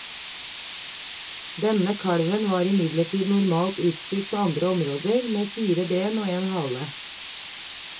Denne kalven var imidlertid normalt utstyrt på andre områder, med fire ben og én hale.